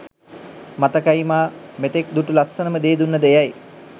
මතකයිමා මෙතෙක් දුටු ලස්සනම දේදුන්නද එයයි.